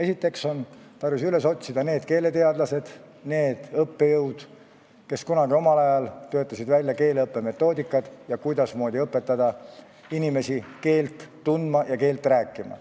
Kõigepealt on tarvis üles otsida need keeleteadlased, need õppejõud, kes omal ajal töötasid välja keeleõppe metoodikad, selle, kuidasmoodi õpetada inimesi keelt tundma ja rääkima.